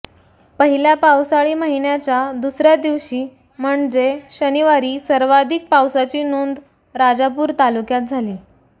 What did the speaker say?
पहिल्या पावसाळी महिन्याच्या दुसर्या दिवशी म्हणजे शनिवारी सर्वाधिक पावसाची नोंद राजापूर तालुक्यात झाली